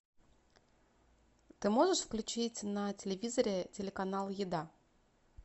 ты можешь включить на телевизоре телеканал еда